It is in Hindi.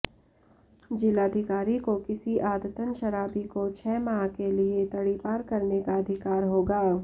जिलाधिकारी को किसी आदतन शराबी को छह माह के लिए तड़ीपार करने का अधिकार होगा